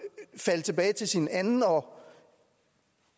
falde tilbage til sin anden og